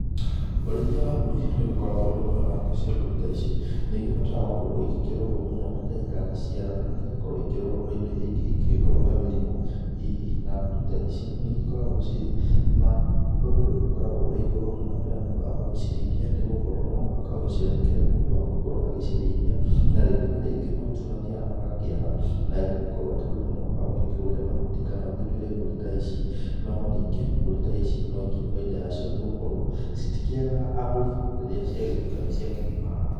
Ũrĩithia wa mburi nĩ ũgĩkoragwo wĩ mwega nacio mburi ta ici nĩigĩbataraga gũkorwo ikĩrorwo mũno rĩrĩa iragĩciarana na ĩgagĩkorwo ikĩrorwo gwĩ indo ĩria ingĩ ingĩkorwo ta mĩrimũ hihi na mburi ta ici ni igĩkoragwo ciri na thogora ũgĩkoragwo ũrĩ igũrũ mũno rĩrĩa mũndũ agũgĩciraithia nĩ gũkorwo no mũhaka ũgĩciandĩkĩre mũndũ wa gũkorwo agĩcirĩithia, na rĩngĩ na rĩngi mahuti nĩ magĩthiaga magakĩaga na ĩgagĩkorwo atĩ rĩu no mũhaka ũgĩkĩgũre mahuti kana ũgĩtuĩre mbũri ta ici ,no ningĩ mbũri ta ici no ikĩrĩ baita yacio nĩgũkorwo citikĩagaga agũri rĩrĩa ciagĩtuĩka nĩ cia kĩgĩmara.